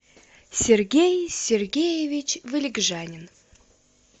сергей сергеевич валикжанин